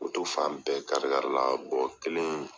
Moto fan bɛɛ kari kari la, kelen in